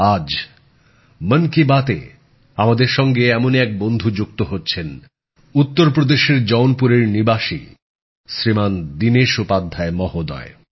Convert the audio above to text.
আজ মন কি বাতে আমাদের সঙ্গে এমনই এক বন্ধু যুক্ত হচ্ছেন উত্তরপ্রদেশের জৌনপুরের নিবাসী শ্রীমান দীনেশ উপাধ্যায় মহোদয়